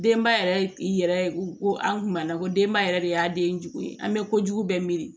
Denba yɛrɛ ko an kuma na ko denba yɛrɛ de y'a den jugu ye an bɛ kojugu bɛɛ miiri